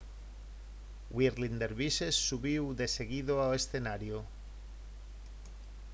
whirling dervishes subiu deseguido ao escenario